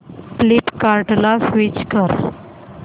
फ्लिपकार्टं ला स्विच कर